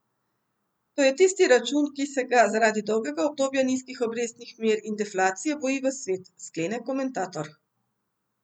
To je tisti račun, ki se ga zaradi dolgega obdobja nizkih obrestnih mer in deflacije boji ves svet, sklene komentator.